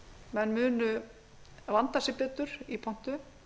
menn munu vanda sig betur í pontu